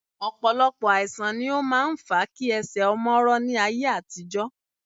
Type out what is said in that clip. Ọ̀pọ̀lọpọ̀ àìsà̀n ni ó máa ń fa kí ẹsẹ̀ ọmọ rọ ní ayé àtijọ́